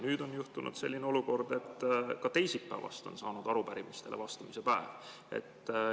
Nüüd on juhtunud selline olukord, et ka teisipäevast on saanud arupärimistele vastamise päev.